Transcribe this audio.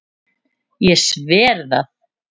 Ég sver það.